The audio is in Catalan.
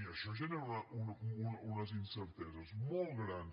i això genera unes incerteses molt grans